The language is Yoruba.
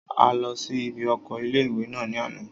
A lọ sí ibi oko ilé-ìwé náà ní àná